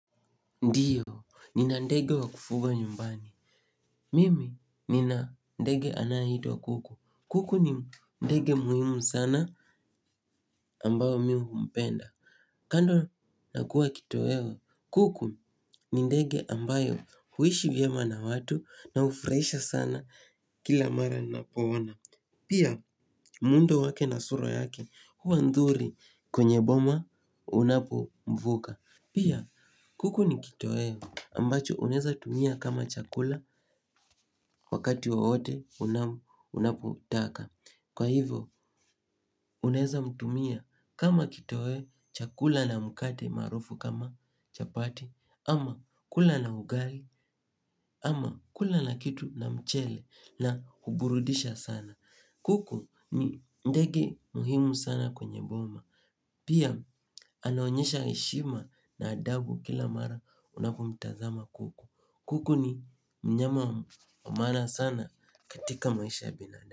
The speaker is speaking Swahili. Ndiyo, nina ndege wa kufuga nyumbani. Mimi, nina ndege anayeitwa kuku. Kuku ni ndege muhimu sana ambayo mimi humpenda. Kando nakuwa kitoweo, kuku ni ndege ambaye huishi vyema na watu na hufurahisha sana kila mara ninapo ona. Pia, muundo wake na sura yake huwa nzuri kwenye boma unapo mvuka. Pia kuku ni kitoweo ambacho unaeza tumia kama chakula wakati wowote unapotaka. Kwa hivyo unaeza mtumia kama kitoweo chakula na mkate maarufu kama chapati ama kula na ugali ama kula na kitu na mchele na huburudisha sana. Kuku ni ndege muhimu sana kwenye boma. Pia anaonyesha heshima na adabu kila mara unapomtazama kuku. Kuku ni mnyama wa maana sana katika maisha ya binadamu.